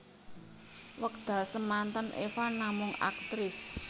Wekdal semanten Eva namung aktris